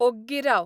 ओग्गी राव